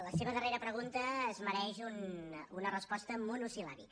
la seva darrera pregunta es mereix una resposta monosil·làbica